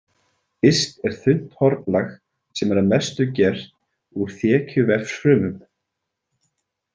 Yst er þunnt hornlag sem er að mestu gert úr þekjuvefsfrumum.